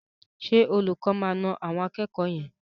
Ṣé olùkọ́ máa na àwọn akẹ́kọ̀ọ́ yẹn?